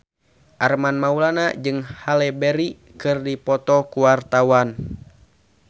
Armand Maulana jeung Halle Berry keur dipoto ku wartawan